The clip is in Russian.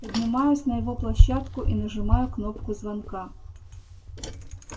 поднимаюсь на его площадку и нажимаю кнопку звонка